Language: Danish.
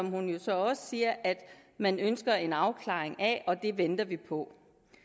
hun jo så også siger at man ønsker en afklaring af og det venter vi på